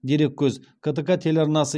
дереккөз ктк телеарнасы